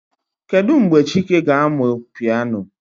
Kedu mgbe chike ga-amụ piano?